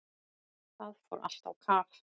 Það fór allt á kaf.